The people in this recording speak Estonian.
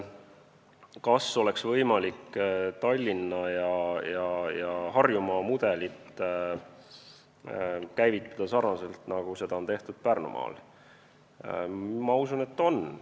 Kas oleks võimalik Tallinnas ja Harjumaal käivitada sarnast mudelit, nagu seda on tehtud Pärnumaal?